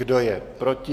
Kdo je proti?